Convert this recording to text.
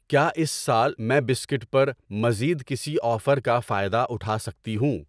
کیا اس سال میں بسکٹ پر مزید کسی آفر کا فائدہ اٹھا سکتی ہوں؟